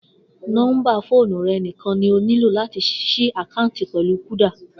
Nó̩ḿbà fóònù rè̩ nìkan ni o nílò láti s̩í àkáàǹtì pè̩lú Kúdà